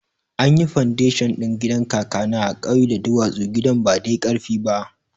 Anyi fandashon ɗin gidan kakana a kauye da duwatsu, gidan ba dai karfi ba